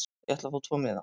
Ég ætla að fá tvo miða.